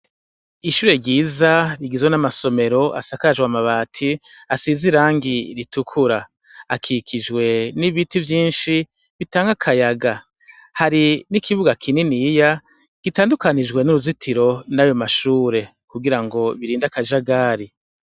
Ishure ryiza rigizwe n’amasomero asakajwe amabati, asiz’ irangi ritukura. Akikijwe n’ibiti vyinshi bitang’akayaga. Hari n’ikibuga kininiya gitandukanijwe n’uruzitiro nayo mashure kugirango birind’akajagari.